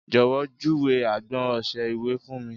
Jọ̀wọ́ júwe agbọn ọṣẹ-ìwẹ̀ fún mi